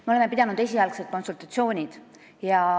Me oleme pidanud esialgseid konsultatsioone.